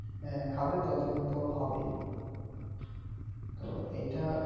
আহ খাবে তত কিন্তু হবেই তো এইটা